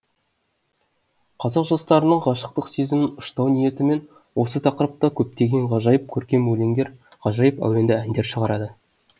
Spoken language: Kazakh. қазақ жастарының ғашықтық сезімін ұштау ниетімен осы тақырыпта көптеген ғажайып көркем өлеңдер ғажайып әуенді әндер шығарады